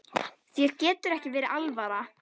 Þér getur ekki verið alvara.